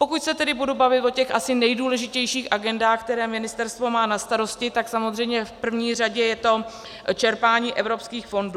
Pokud se tedy budu bavit o těch asi nejdůležitějších agendách, které ministerstvo má na starosti, tak samozřejmě v první řadě je to čerpání evropských fondů.